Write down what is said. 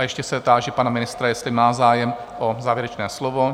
A ještě se táži pana ministra, jestli má zájem o závěrečné slovo?